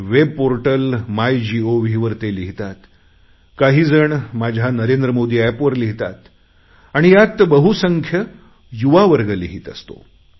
web portal MyGovवर ते लिहितात काही जण माझ्या नरेंद्र मोदी एपवर लिहितात आणि यात बहुसंख्य युवावर्ग लिहीत असतो